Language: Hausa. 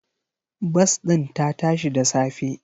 Bas ɗin ta tashi da safe.